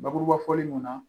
Bakuruba fɔli mun na